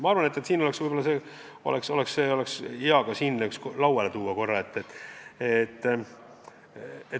Ma arvan, et seda võiks siin ka käsitleda.